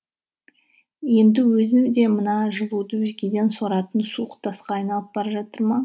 енді өзі де мына жылуды өзгеден соратын суық тасқа айналып бара жатыр ма